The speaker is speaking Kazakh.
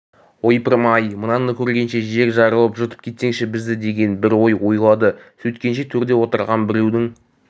ойпырмай мынаны көргенше жер жарылып жұтып кетсеші бізді деген бір ой ойлады сөйткенше төрде отырған біреудің